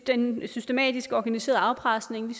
den systematiske organiserede afpresning